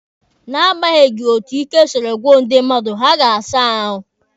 Na agbanyeghị etu ike siri gwụ ndị mmadụ, ha ga-asa ahụ.